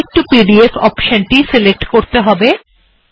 LaTeX to PDF option টিতে click করতে হবে